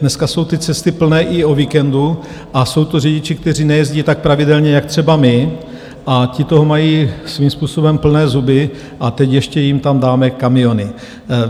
Dneska jsou ty cesty plné i o víkendu a jsou to řidiči, kteří nejezdí tak pravidelně jak třeba my, a ti toho mají svým způsobem plné zuby, a teď ještě jim tam dáme kamiony.